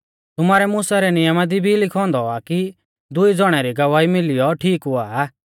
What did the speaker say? तुमारै मुसा रै नियमा दी भी लिखौ औन्दौ आ कि दुई ज़ौणा री गवाही मिलियौ ठीक हुआ आ